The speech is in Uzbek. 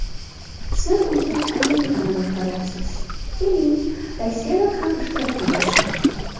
Sizlar ulkan Amerikani boshqaryapsiz, keling, Rossiyadan ham ishtirokchi bo‘lsin.